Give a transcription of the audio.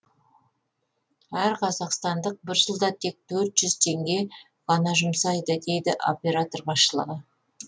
әр қазақстандық бір жылда тек төрт жүз теңге ғана жұмсайды дейді оператор басшылығы